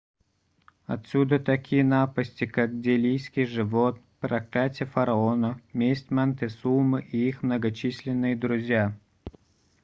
отсюда такие напасти как делийский живот проклятье фараона месть монтесумы и их многочисленные друзья